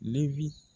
Ne bi